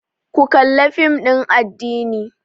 Ku kalla fim ɗin addini!